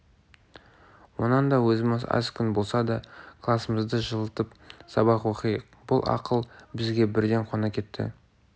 онан да өзіміз аз күн болса да класымызды жылытып сабақ оқиық бұл ақыл бізге бірден қона кетті